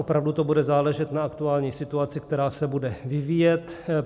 Opravdu to bude záležet na aktuální situaci, která se bude vyvíjet.